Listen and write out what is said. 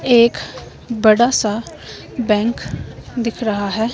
एक बड़ा सा बैंक दिख रहा है।